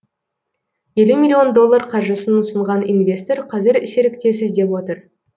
елу миллион доллар қаржысын ұсынған инвестор қазір серіктес іздеп отыр